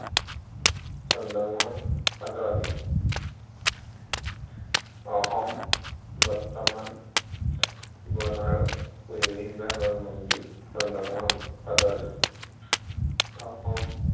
চন্দ্ৰমোহন পাটোৱাৰী। অসম, বৰ্তমান বন আৰু পৰিৱেশ বিভাগৰ মন্ত্ৰী চন্দ্ৰমোহন পাটোৱাৰী। অসম